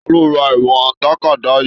Taló rà ìwọ̀n tàkádá yìí?